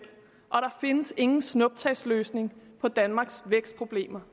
og der findes ingen snuptagsløsninger på danmarks vækstproblemer